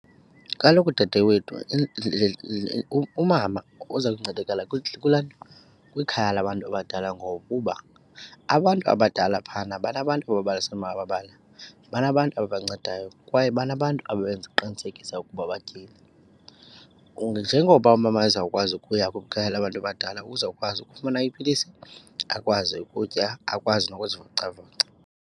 Kaloku dadewethu umama uza kuncedakala kwilaa nto, kwikhaya labantu abadala ngokuba abantu abadala phayana banabantu abababalisela amabali, banabantu abancedayo kwaye banabantu abenza uqinisekisa ukuba batyile. Njengoba umama azawukwazi ukuya kwikhaya labantu badala uzawukwazi ukufumana iipilisi, akwazi ukutya, akwazi nokuzivocavoca.